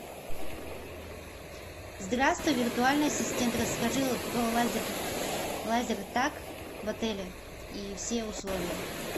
здравствуй виртуальный ассистент расскажи про лазер лазертаг в отеле и все условия